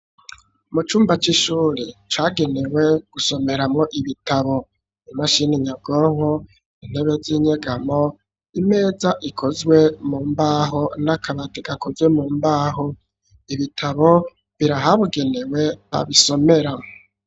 Mucumba c'ishure ca genewe gusomeramwo ibitabo, imashini nyabwonko, intebe zinyegamo, imeza ikozwe mu mbaho, n'akabati gakozwe mu mbaho, ibitabo biri ahabugenewe babisomerz.